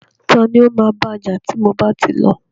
Tani o ma baja ti mo bá ti lọ?